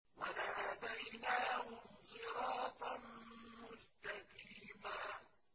وَلَهَدَيْنَاهُمْ صِرَاطًا مُّسْتَقِيمًا